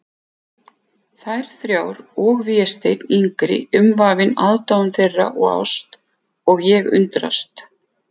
Þær þrjár og Vésteinn yngri umvafinn aðdáun þeirra og ást, og ég undrast.